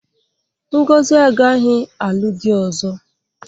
Ngozi agaghị alụ di ọzọ.